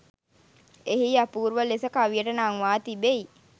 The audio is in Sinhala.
එහි අපූර්ව ලෙස කවියට නංවා තිබෙයි.